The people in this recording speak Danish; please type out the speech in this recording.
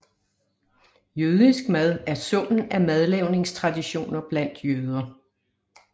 Jødisk mad er summen af madlavningstraditioner blandt jøder